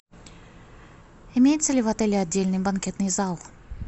имеется ли в отеле отдельный банкетный зал